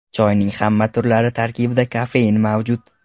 Choyning hamma turlari tarkibida kofein mavjud.